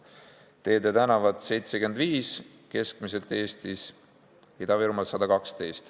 Teed ja tänavad: 75 eurot keskmiselt Eestis, Ida-Virumaal 112.